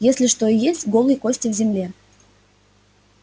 если что и есть голые кости в земле